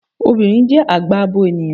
Obìnrin jẹ́ àgbà abo ènìyàn